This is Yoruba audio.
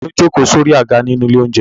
Ta ni ó jókòó sórí àga nínú ilé-oúnjẹ?